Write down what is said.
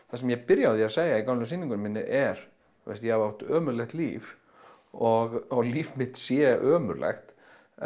það sem ég byrja á að segja í gömlu sýningunni minni er ég hef átt ömurlegt líf og að líf mitt sé ömurlegt